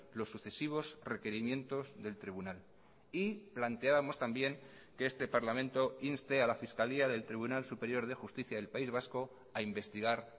los sucesivos requerimientos del tribunal y planteábamos también que este parlamento inste a la fiscalía del tribunal superior de justicia del país vasco a investigar